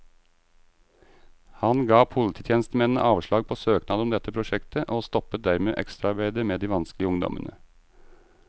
Han ga polititjenestemennene avslag på søknad om dette prosjektet, og stoppet dermed ekstraarbeidet med de vanskelige ungdommene.